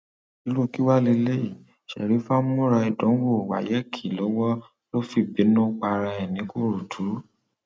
irú kí wàá lélẹyìí sherifa ń múra ìdánwò wayeèkì lọwọ ló fi bínú para ẹ nìkòròdú